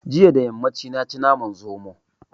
Jiya da yammaci na ci naman zomo